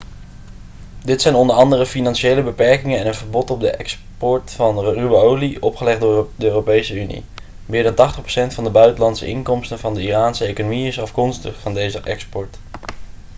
dit zijn onder andere financiële beperkingen en een verbod op de export van ruwe olie opgelegd door de europese unie meer dan 80% van de buitenlandse inkomsten van de iraanse economie is afkomstig van deze export